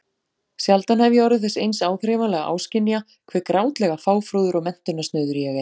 Sjaldan hef ég orðið þess eins áþreifanlega áskynja hve grátlega fáfróður og menntunarsnauður ég er.